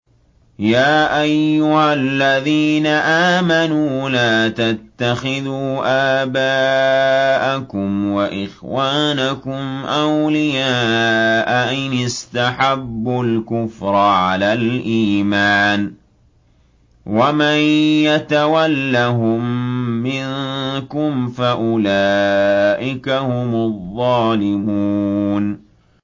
يَا أَيُّهَا الَّذِينَ آمَنُوا لَا تَتَّخِذُوا آبَاءَكُمْ وَإِخْوَانَكُمْ أَوْلِيَاءَ إِنِ اسْتَحَبُّوا الْكُفْرَ عَلَى الْإِيمَانِ ۚ وَمَن يَتَوَلَّهُم مِّنكُمْ فَأُولَٰئِكَ هُمُ الظَّالِمُونَ